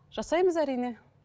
жасаймыз әрине